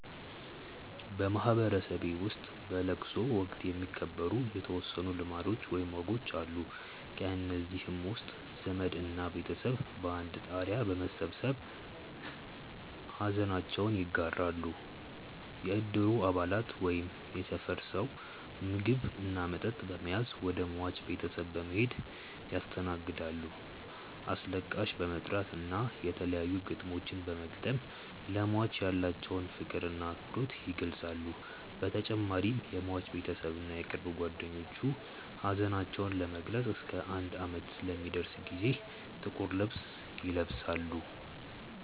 በማህበረሰቤ ውስጥ በለቅሶ ወቅት የሚከበሩ የተወሰኑ ልማዶች ወይም ወጎች አሉ። ከእነዚህም ውስጥ ዘመድ እና ቤተሰብ በአንድ ጣሪያ በመሰብሰብ ሐዘናቸውን ይጋራሉ፣ የእድሩ አባላት ወይም የሰፈር ሰው ምግብ እና መጠጥ በመያዝ ወደ ሟች ቤተሰብ በመሔድ ያስተናግዳሉ፣ አስለቃሽ በመጥራት እና የተለያዩ ግጥሞችን በመግጠም ለሟች ያላቸውን ፍቅር እና አክብሮት ይገልፃሉ በተጨማሪም የሟች ቤተሰብ እና የቅርብ ጓደኞቹ ሀዘናቸውን ለመግለፅ እስከ አንድ አመት ለሚደርስ ጊዜ ጥቁር ልብስ ይለብሳሉ።